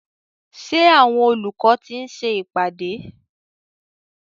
Ṣé àwọn olùkọ́ ti ń ṣe ìpàdé?